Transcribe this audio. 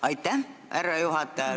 Aitäh, härra juhataja!